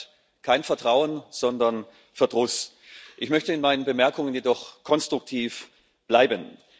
Dies schafft kein Vertrauen, sondern Verdruss. Ich möchte in meinen Bemerkungen jedoch konstruktiv bleiben.